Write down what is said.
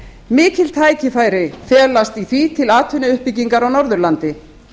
mikil tækifæri felast í því til atvinnuuppbyggingar á norðurlandi